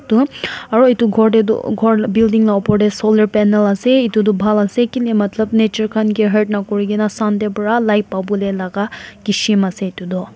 tu aru etu ghor teh tu ghor building lah upar teh solar panel ase etu tu bhal ase kile matlab nature khan ke hurt na kuri kena Sun teh para light pabole laga kism ase etu tu.